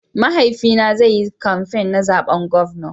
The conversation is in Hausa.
Mahaifi na zai yi kamfain na zaɓen gwamna.